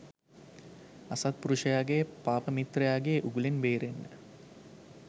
අසත්පුරුෂයාගේ පාපමිත්‍රයාගේ උගුලෙන් බේරෙන්න